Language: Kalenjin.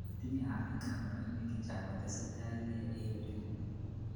Tinyei afrika boroinwek chechang kotesetaikei eng uchumi